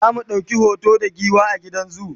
zamu ɗauki hoto da giwa a gidan zoo